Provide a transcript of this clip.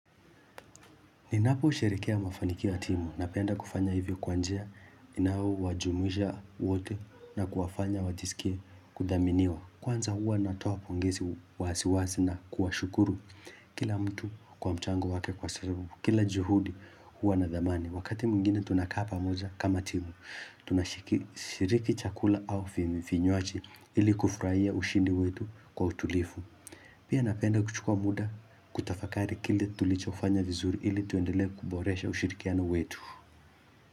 Ninaposherehekea mafanikio ya timu, napenda kufanya hivyo kwa njia inayowajumuisha wote na kuwafanya wajisikie kudhaminiwa. Kwanza huwa natoa pongezi wazi wazi na kuwashukuru kila mtu kwa mchango wake kwa sababu, kila juhudi huwa na dhamani. Wakati mwingine tunakaa pamoja kama timu, tunashiriki chakula au vinywaji ili kufurahia ushindi wetu kwa utulivu. Pia napenda kuchukua muda kutafakari kile tulichofanya vizuri ili tuendele kuboresha ushirikiano wetu.